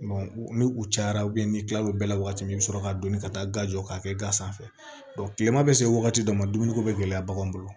ni u cayara n'i kila l'o bɛɛ la wagati min i bi sɔrɔ ka donni ka taa jɔ k'a kɛ gan sanfɛ kilema bɛ se wagati dɔ ma dumuni ko be gɛlɛya baganw bolo